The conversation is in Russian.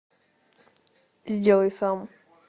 сделай сам